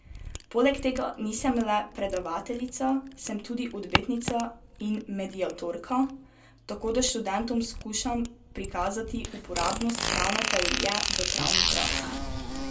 Poleg tega nisem le predavateljica, sem tudi odvetnica in mediatorka, tako da študentom skušam prikazati uporabnost pravne teorije v pravni praksi.